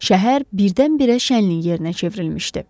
Şəhər birdən-birə şənlik yerinə çevrilmişdi.